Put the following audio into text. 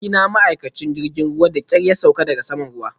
Abokina ma'aikacin jirgin ruwa da ƙyar ya sauko daga saman ruwan